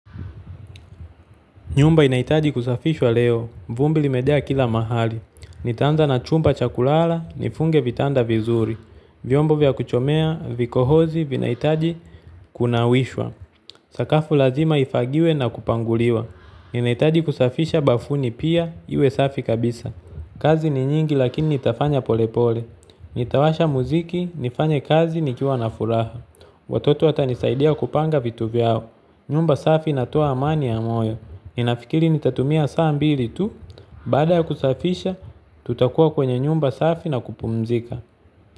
Nyumba inahitaji kusafishwa leo, vumbi limejaa kila mahali. Nitaanza na chumba cha kulala, nifunge vitanda vizuri, vyombo vya kuchomea, vikohozi, vinahitaji kunawishwa, sakafu lazima ifagiwe na kupanguliwa. Ninahitaji kusafisha bafuni pia, iwe safi kabisa. Kazi ni nyingi lakini nitafanya polepole. Nitawasha muziki, nifanye kazi, nikiwa na furaha. Watoto watanisaidia kupanga vitu vyao. Nyumba safi inatoa amani ya moyo. Ninafikiri nitatumia saa mbili tu. Baada ya kusafisha, tutakuwa kwenye nyumba safi na kupumzika.